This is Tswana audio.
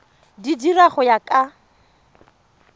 di dira go ya ka